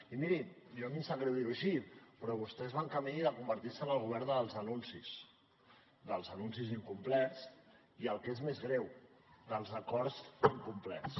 i miri a mi em sap greu dir ho així però vostès van camí de convertir se en el govern dels anuncis dels anuncis incomplerts i el que és més greu dels acords incomplerts